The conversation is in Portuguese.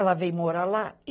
Ela vem morar lá.